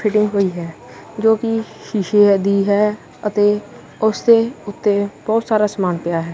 Fitting ਹੋਈ ਹੈ ਜੋ ਕਿ ਸ਼ੀਸ਼ੇਆਂ ਦੀ ਹੈ ਅਤੇ ਉਸ ਦੇ ਉੱਤੇ ਬਹੁਤ ਸਾਰਾ ਸਮਾਨ ਪਿਆ ਹੈ।